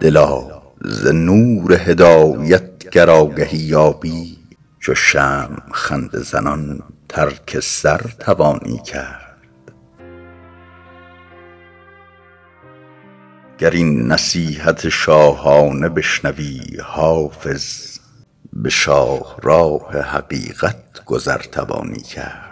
دلا ز نور هدایت گر آگهی یابی چو شمع خنده زنان ترک سر توانی کرد گر این نصیحت شاهانه بشنوی حافظ به شاهراه حقیقت گذر توانی کرد